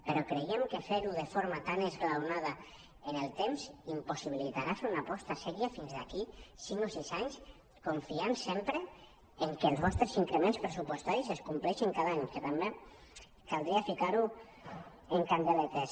però creiem que fer·ho de forma tan esglaonada en el temps impossibilitarà fer una aposta seriosa fins d’aquí cinc o sis anys confiant sempre que els vostres increments pressuposta·ris es compleixin cada any que també caldria ficar·ho amb candeletes